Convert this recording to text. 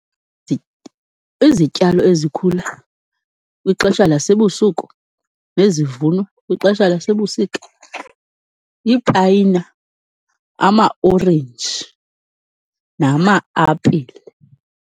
Izityalo ezikhula kwixesha lasebusuku, nezivunwa kwixesha lasebusika lipayina, amaorenji nama-apile.